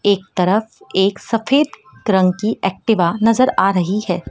एक तरफ एक सफेद रंग की एक्टिवा नजर आ रही है।